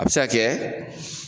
A be se ka kɛ